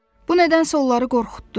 Bu nədənsə onları qorxutdu.